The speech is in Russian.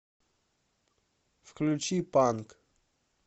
включи панк